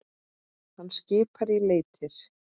Hann skipar í leitir.